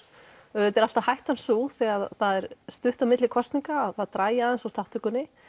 auðvitað er alltaf hættan sú þegar það er stutt á milli kosninga að það dragi aðeins úr þátttökunni